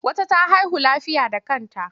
Wata ta haihu lafiya da kanta.